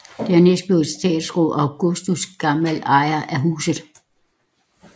Dernæst blev etatsråd Augustin Gamél ejer af huset